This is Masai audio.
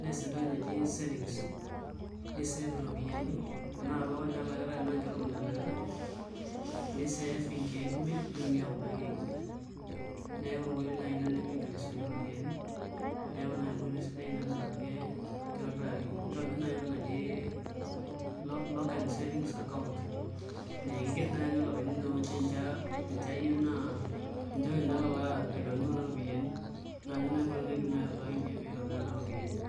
nees entoki naji savings nisave iropiyiani enaa tolapa ninye elaki enaa inkeek tomon elakitai nisave inkeek imiet nitumia kuna keek imiet neeku enkoitoi naai ina nemiigil aisuakie iropiyiani neeku naa enkoitoi sidai ina naa kitobiraki, nitobirr naai entoki naji lock and savings account naa kiigerr naai ake ilapaitin tinewueji ninche ayieu naa ninche kenya alo aitayunyie kuna ropiyiani naa ninye naai enkoitoi naidim atuutakinyie piitobiraa naa iropiyiani.